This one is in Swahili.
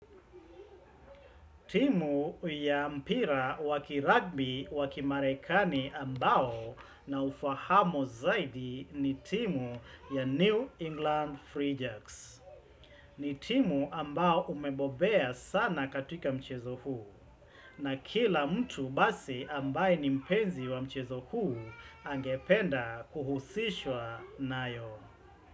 Timu ya mpira wa kiragibi wa kimarekani ambao naufahamo zaidi ni timu ya New England Free Jacks. Ni timu ambao umebobea sana katika mchezo huu na kila mtu basi ambaye ni mpenzi wa mchezo huu angependa kuhusishwa nayo.